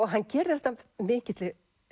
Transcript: hann gerir þetta af mikilli